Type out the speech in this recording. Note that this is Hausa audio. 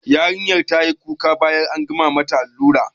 Yarinyar tayi kuka bayan an gama mata allura